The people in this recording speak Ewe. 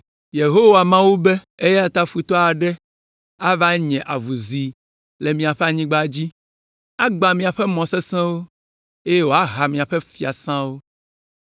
Yehowa Mawu be, “Eya ta futɔ aɖe ava nye avuzi le miaƒe anyigba dzi, agbã miaƒe mɔ sesẽwo, eye wòaha miaƒe fiasãwo.”